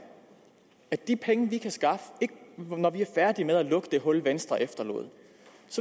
at de penge vi kan skaffe når vi er færdige med at lukke det hul venstre efterlod